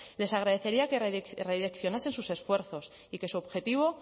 les agradecería que redireccionasen sus esfuerzos y que su objetivo